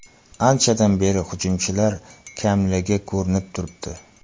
Anchadan beri hujumchilar kamligi ko‘rinib turibdi.